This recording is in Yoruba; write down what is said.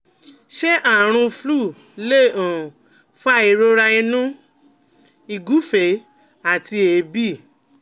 Ṣé àrùn flu lè um fa ìrora inu, ìgufe àti eebi?